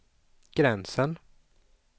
gränsen